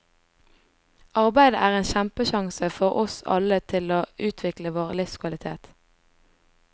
Arbeidet er en kjempesjanse for oss alle til å utvikle vår livskvalitet.